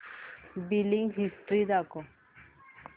billing history दाखव